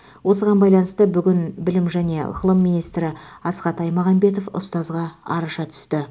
осыған байланысты бүгін білім және ғылым министрі асхат аймағамбетов ұстазға араша түсті